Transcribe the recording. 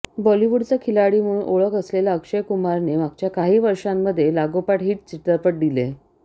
बॉलीवूडचा खिलाडी म्हणून ओळख असलेल्या अक्षय कुमारने मागच्या काही वर्षांमध्ये लागोपाठ हिट चित्रपट दिले